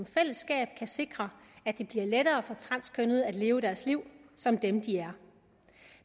fællesskab kan sikre at det bliver lettere for transkønnede at leve deres liv som dem de er